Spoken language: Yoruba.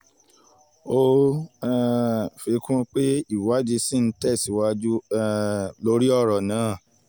ó um fi kún pé ìwádìí ṣì ń tẹ̀síwájú um lórí ọ̀rọ̀ náà